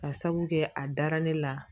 Ka sabu kɛ a dara ne la